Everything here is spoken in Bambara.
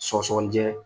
Sɔgɔsɔgɔnijɛ